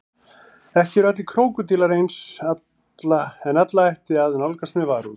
Ekki eru allir krókódílar eins en alla ætti að nálgast með varúð.